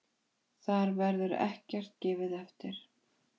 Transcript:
Þar verður ekkert gefið eftir.